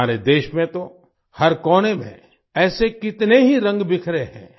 हमारे देश में तो हर कोने में ऐसे कितने ही रंग बिखरे हैं